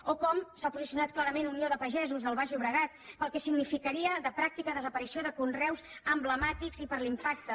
o com s’ha posicionat clarament unió de pagesos del baix llobregat pel que significaria de pràctica desaparició de conreus emblemàtics i per l’impacte